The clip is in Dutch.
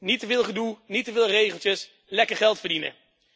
Niet te veel gedoe, niet te veel regeltjes, lekker geld verdienen.